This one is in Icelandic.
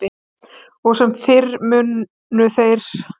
Og sem fyrr munu þeir sem